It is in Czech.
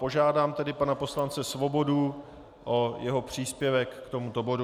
Požádám tedy pana poslance Svobodu o jeho příspěvek k tomuto bodu.